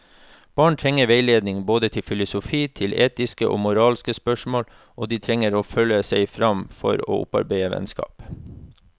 Barn trenger veiledning både til filosofi, til etiske og moralske spørsmål, og de trenger å føle seg frem til å opparbeide vennskap.